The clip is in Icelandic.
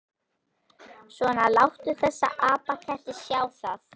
Svona, láttu þessa apaketti sjá það.